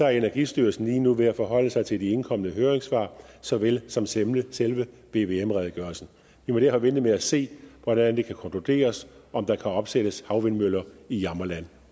er energistyrelsen lige nu ved at forholde sig til de indkomne høringssvar såvel som til selve vvm redegørelsen vi må derfor vente med at se hvordan det kan konkluderes om der kan opsættes havvindmøller i jammerland